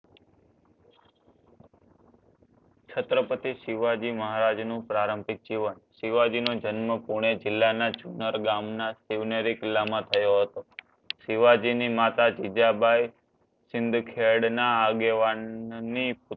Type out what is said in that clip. છત્રપતિ શિવાજી મહારાજ નો પ્રારંભિક જીવન શિવાજી નો જન્મ પૂણે જિલ્લાના ચુનારા ગામના થયો હતો શિવાજી ની માતા જીજાબાઈ સિંધખેડ ના આગેવાન ની